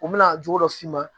U bɛna jogo dɔ f'i ma